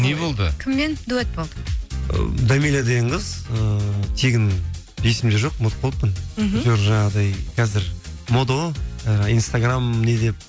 не болды кіммен дуэт болды ы дамила деген қыз ііі тегін есімде жоқ ұмытып қалыппын әйтеуір жаңағыдай қазір мода ғой і инстаграм не деп